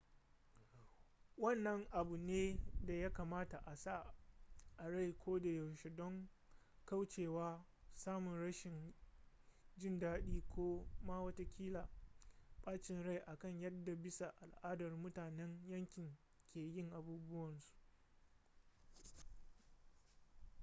wannan abu ne da ya kamata a sa a rai kodayaushe don kaucewa samun rashin jin daɗi ko ma watakila bacin rai akan yadda bisa al'ada mutanen yankin ke yin abubuwansu